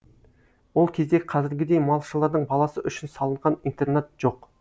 ол кезде қазіргідей малшылардың баласы үшін салынған интернат жоқ